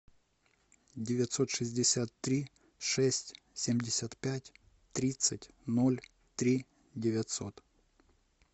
девятьсот шестьдесят три шесть семьдесят пять тридцать ноль три девятьсот